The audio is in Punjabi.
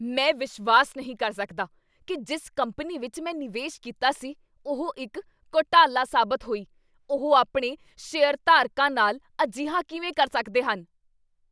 ਮੈਂ ਵਿਸ਼ਵਾਸ ਨਹੀਂ ਕਰ ਸਕਦਾ ਕੀ ਜਿਸ ਕੰਪਨੀ ਵਿੱਚ ਮੈਂ ਨਿਵੇਸ਼ ਕੀਤਾ ਸੀ ਉਹ ਇੱਕ ਘੁਟਾਲਾ ਸਾਬਤ ਹੋਈ। ਉਹ ਆਪਣੇ ਸ਼ੇਅਰਧਾਰਕਾਂ ਨਾਲ ਅਜਿਹਾ ਕਿਵੇਂ ਕਰ ਸਕਦੇ ਹਨ?